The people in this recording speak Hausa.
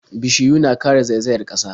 Bishiyu na kare zaizayar ƙasa.